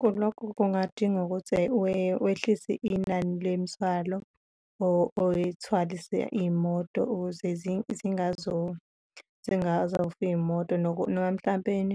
Kulokhu kungadinga ukuthi wehlise inani lwemithwalo oyithwalise iy'moto ukuze zingazofa iy'moto noma mhlampeni